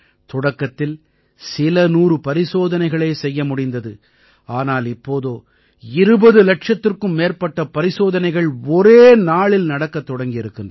தொடக்கத்தில் சில நூறு பரிசோதனைகளே செய்ய முடிந்தது ஆனால் இப்போதோ 20 இலட்சத்திற்கும் மேற்பட்ட பரிசோதனைகள் ஒரே நாளில் நடக்கத் தொடங்கி இருக்கின்றன